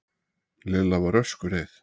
Lilla var öskureið.